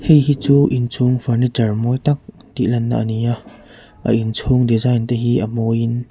heihi chu inchhung furniture mawi tak tih lanna a ni a a innchung design te hi a mawiin--